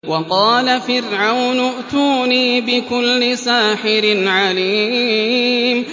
وَقَالَ فِرْعَوْنُ ائْتُونِي بِكُلِّ سَاحِرٍ عَلِيمٍ